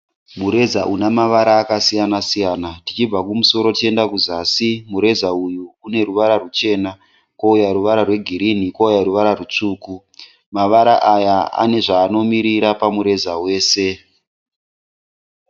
Mureza une mavara akasiyana siyana. Tichibva kumusoro tichienda kuzasi mureza uyu une ruvara rwuchena kwouya ruvara rwegirinhi kwouya ruvara rwutsvuku. Mavara aya ane zvaanomirira pamureza wese.